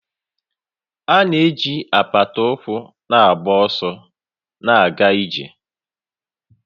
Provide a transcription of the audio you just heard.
A na-eji apata ụkwụ na-agba ọsọ na ịga ije